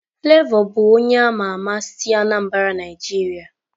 Flavor bụ onye ama ama si Anambra Nigeria.